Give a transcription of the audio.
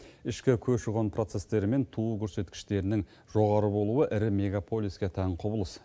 ішкі көші қон процестері мен туу көрсеткіштерінің жоғары болуы ірі мегаполиске тән құбылыс